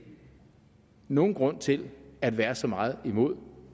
nogen grund til at være så meget imod